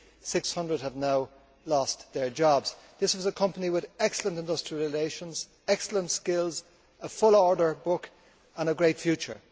600 have now lost their jobs. This was a company with excellent industrial relations, excellent skills, a full order book and a great future.